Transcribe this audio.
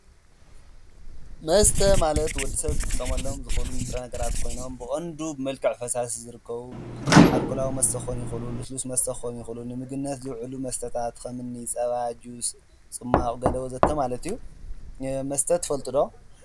መስተ ማለት ወዲሰብ ክጥቀመሎም ንጥረነገራት ኮይኖም ብቀንዱ ብመልክዕ ፈሳሲ ዝርከቡ ኣልኮላዊ መስተ ክኮኑ ይክእሉ ልስሉስ መስተ ክኮኑ ይክእሉ ንምግብነት ዝዉዕሉ መስተታት ከምኒ ፀባ፣ ጁስ፣ ፅሟቅ ወዘተ ማለት እዩ። መስተ ትፈልጡ ዶ?